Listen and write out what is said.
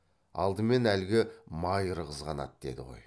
алдымен әлгі майыр қызғанады деді ғой